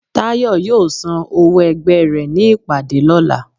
Tayo yóò sán òwó ẹgbẹ re ní ìpàdé lolà